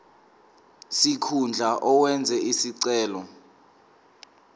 sikhundla owenze isicelo